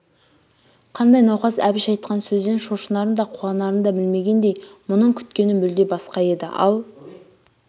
қандай науқас әбіш айтқан сөзден шошынарын да қуанарын да білмегендей мұның күткені мүлде басқа еді ал